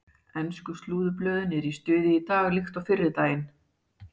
Ensku slúðurblöðin eru í stuði í dag líkt og fyrri daginn.